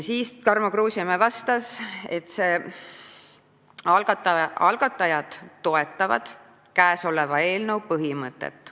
Tarmo Kruusimäe vastas, et algatajad toetavad eelnõu põhimõtet.